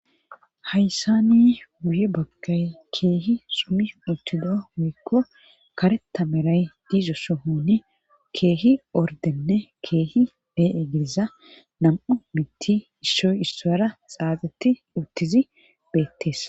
hayssani buye baggay keehi sumi uttido woykko kare tameray diizo sohoni keehi ordenne keehi bee7e gidiza nam7u mitti issoy issoyra xaaxeti uttizi beettees